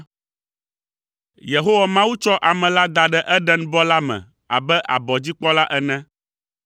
Yehowa Mawu tsɔ ame la da ɖe Edenbɔ la me abe abɔdzikpɔla ene.